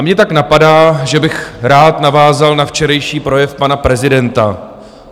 A mě tak napadá, že bych rád navázal na včerejší projev pana prezidenta.